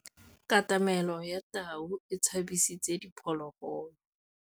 Katamêlô ya tau e tshabisitse diphôlôgôlô.